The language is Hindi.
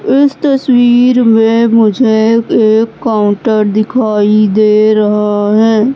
इस तस्वीर में मुझे एक काउंटर दिखाई दे रहा है।